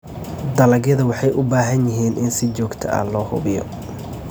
Dalagyada waxay u baahan yihiin in si joogto ah loo hubiyo.